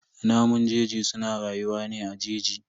Namun jeji suna rayuwa ne a jeji.